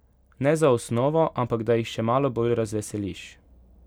Ne za osnovo, ampak da jih še malo bolj razveseliš.